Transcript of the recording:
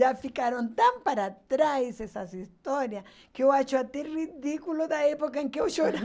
Já ficaram tão para trás essas histórias que eu acho até ridículo da época em que eu